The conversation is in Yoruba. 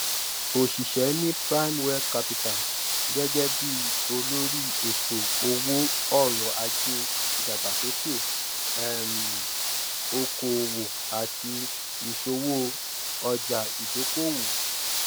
ó ṣiṣẹ́ ní primewealth capital gẹ́gẹ́ bí olórí ètò owó ọrọ̀ ajé ìdàgbàsókè um òkò-òwò àti ìṣowò ọjà-ìdókòwò.